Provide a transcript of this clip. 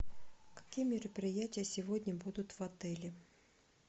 какие мероприятия сегодня будут в отеле